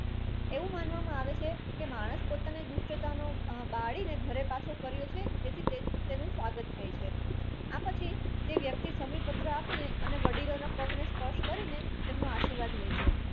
એવું માનવામાં આવે છે માણસ પોતાની દુષ્ટતાનો બાળીને ઘરે કર્યો છે તેથી તેનું સ્વાગત થાય છે આ પછી તે વ્યક્તિ સમીપત્ર આપીને વડીલોના પગને સ્પર્શ કરીને તમનો આશીર્વાદ લય છે